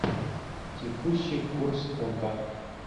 текущий курс фунта